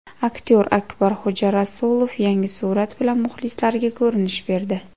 Aktyor Akbarxo‘ja Rasulov yangi surat bilan muxlislariga ko‘rinish berdi.